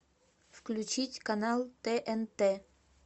включить канал тнт